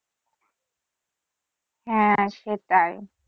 হ্যা সেটাই।